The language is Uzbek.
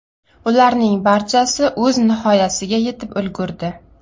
Ularning barchasi o‘z nihoyasiga yetib ulgurdi.